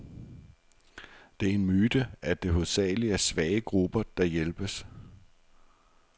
Det er en myte, at det hovedsageligt er svage grupper, der hjælpes.